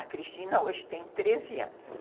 A Cristina hoje tem treze anos.